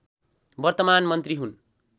वर्तमान मन्त्री हुन्